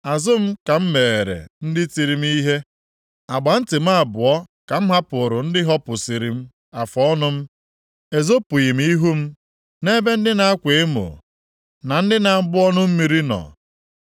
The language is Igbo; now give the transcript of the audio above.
Azụ m ka m megheere ndị tiri m ihe; agba nti m abụọ ka m hapụụrụ ndị hopusiri m afụọnụ m. Ezopụghị m ihu m nʼebe ndị na-akwa emo, na ndị na-agbụ ọnụ mmiri nọ.